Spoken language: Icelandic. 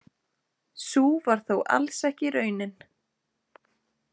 Sú var þó alls ekki raunin.